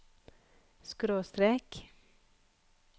skråstrek